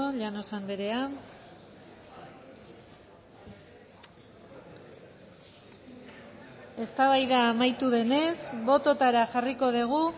llanos andrea eztabaida amaitu denez bototara jarriko dugu